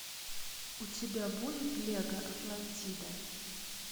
у тебя будет лего атлантида